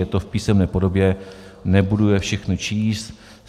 Je to v písemné podobě, nebudu je všechny číst.